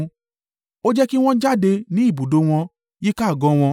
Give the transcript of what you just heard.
Ó jẹ́ kí wọn jáde ní ibùdó wọn, yíká àgọ́ wọn.